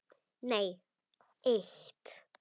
Nei eitt.